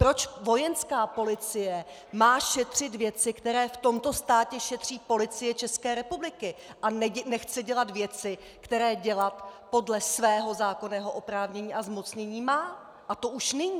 Proč vojenská policie má šetřit věci, které v tomto státě šetří Policie České republiky, a nechce dělat věci, které dělat podle svého zákonného oprávnění a zmocnění má, a to už nyní?